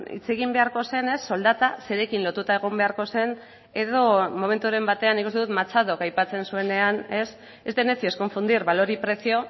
hitz egin beharko zenez soldata zerekin lotuta egon beharko zen edo momenturen batean nik uste dut machadok aipatzen zuenean es de necios confundir valor y precio